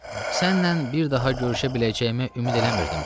Sənnən bir daha görüşə biləcəyimə ümid eləmirdim, Çarlz.